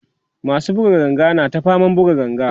masu buga ganga na ta faman buga ganga